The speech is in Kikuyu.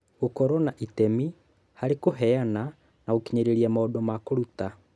Gũkorũo na itemi harĩ kũheana na gũkinyĩria maũndũ ma kũruta